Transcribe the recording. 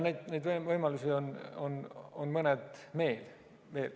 Neid võimalusi on mõned veel.